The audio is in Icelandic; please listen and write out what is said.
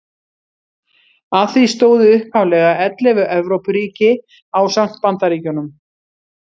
Að því stóðu upphaflega ellefu Evrópuríki ásamt Bandaríkjunum.